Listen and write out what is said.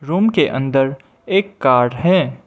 Room के अंदर एक कार है।